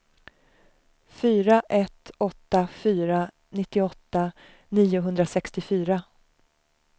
fyra ett åtta fyra nittioåtta niohundrasextiofyra